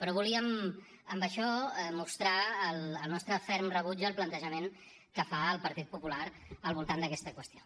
però volíem amb això mostrar el nostre ferm rebuig al plantejament que fa el partit popular al voltant d’aquesta qüestió